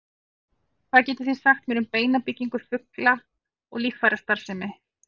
hvað getið þið sagt mér um beinabyggingu fugla og líffærastarfsemi